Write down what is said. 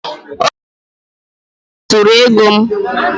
onye njikwa ụlọ akụ zuru ego m